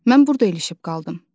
Mən burda ilişib qaldım.